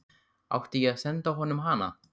Átti ég að senda honum hana?